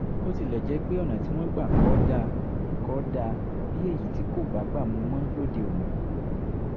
bó tilẹ̀ jẹ́ pé ọ̀nà tí wọ́n gbà kọ ọ́ dà kọ ọ́ dà bí èyí tí kò bágbà mu mọ́ lóde òní